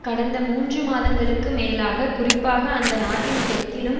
கடந்த மூன்று மாதங்களுக்கு மேலாக குறிப்பாக அந்த நாட்டின் தெற்கிலும்